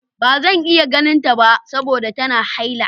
Ba zan iya ganinta saboda tana haila.